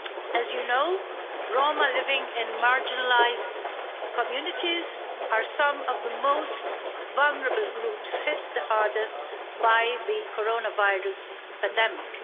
As you know, Roma living in marginalised communities are some of the most vulnerable groups hit the hardest by the coronavirus pandemic.